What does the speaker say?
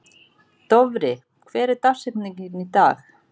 Dofri, hver er dagsetningin í dag?